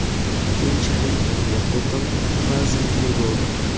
Keyinchalik oila qurdim, farzandli bo‘ldim.